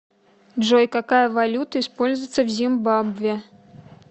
джой какая валюта используется в зимбабве